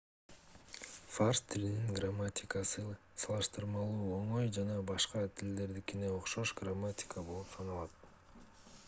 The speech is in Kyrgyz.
фарс тилинин грамматикасы салыштырмалуу оңой жана башка тилдердикине окшош грамматика болуп саналат